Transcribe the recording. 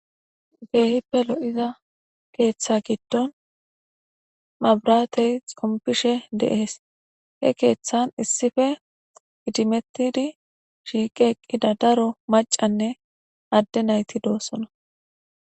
Kehippe loo'zza ketha gidon mabrathe xompishe Dee's. He kethan issue idimethid shiqi eqida daro maccanne adde naythi dossona.